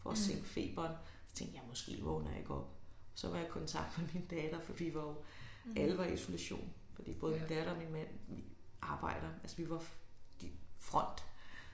For at sænke feberen så tænkte jeg måske vågner jeg ikke op. Så var jeg i kontakt med min datter for vi var jo alle var i isolation fordi både min datter og min mand arbejder altså vi var de front